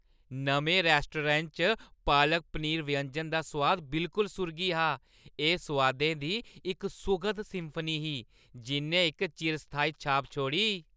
नमें रैस्टोरैंटै च पालक पनीर व्यंजन दा सोआद बिलकुल सुर्गी हा; एह् सोआदें दी इक सुखद सिम्फनी ही जिʼन्नै इक चिरस्थायी छाप छोड़ी।